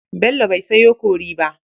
Bello bai sayo kori ba.